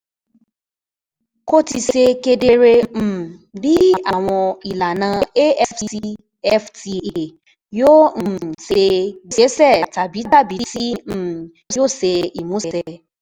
Kò tíì ṣe kedere um bí àwọn ìlànà AfCFTA yóò um ṣe gbéṣẹ́ tàbí tàbí tí um yóò ṣe ìmúṣẹ.